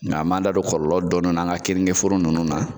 Nga an m'an da don kɔlɔlɔ dɔɔni na an ka keninkeforo ninnu na.